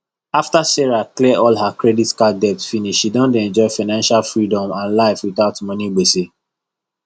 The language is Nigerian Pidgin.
after sarah clear all her credit card debt finish she don dey enjoy financial freedom and life without money gbese